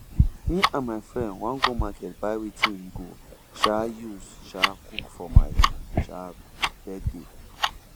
me and my friend wan go market buy wetin we go um use um cook for my um birthday